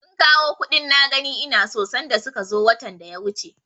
Sun kawo kuɗin na gani ina so sanda suka zo watan da ya wuce.